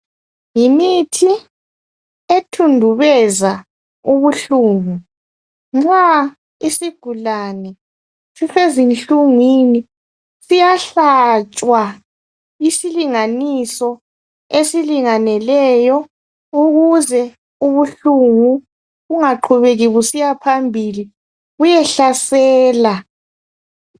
Yimithi ethundubeza ubuhlungu nxa isigulane sisezinhlungwini siyahlatshwa isilinganiso esilingeneleyo ukuze ubuhlungu bungaqhubeki busiyaphambili buyehlasela